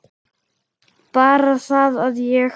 Bara það að ég.